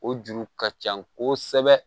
O juru ka ca kosɛbɛ